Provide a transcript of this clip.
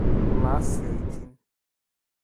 olo ass isiaitin